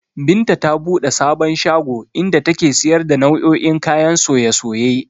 Binta ta buɗe sabon shago, inda take siyar da nau'o'in kayan soye-soye